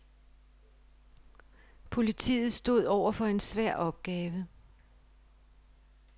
Politiet stod overfor en svær opgave.